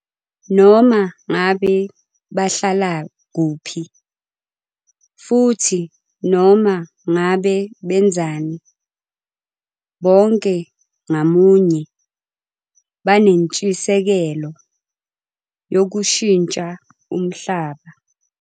Noma ngabe bahlala kuphi futhi noma ngabe benzani, bonke ngamunye banentshisekelo yokushintsha umhlaba.